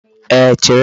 Ee, chere m.